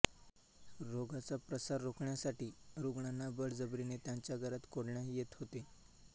रोगाचा प्रसार रोखण्यासाठी रुग्णांना बळजबरीने त्यांच्या घरात कोंडण्यात येत होते